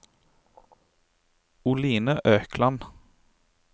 Oline Økland